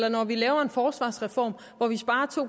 og når vi laver en forsvarsreform hvor vi sparer to